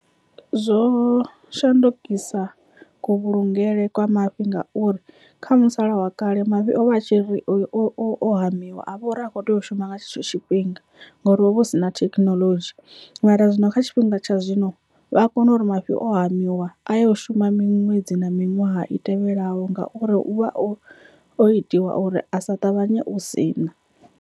Zwo shandukisa ku vhulungele kwa mafhi ngauri kha musala wa kale mavhi ovha a tshi ri o hamiwa a vha uri a kho tea u shuma nga tshetsho tshifhinga ngori hovha hu si na thekhinoḽodzhi, mara zwino kha tshifhinga tsha zwino vha kona uri mafhi o hamiwa a yo shuma miṅwedzi na miṅwaha i tevhelaho ngauri u vha o o itiwa uri a sa ṱavhanye u sina.